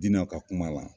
Diinɛ ka kuma la